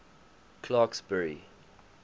clarksburry